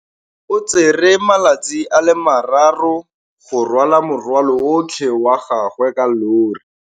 O tsere malatsi a le marraro go rwala morwalo otlhe wa gagwe ka llori.